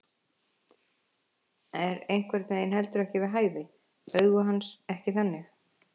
Er einhvern veginn heldur ekki við hæfi, augu hans ekki þannig.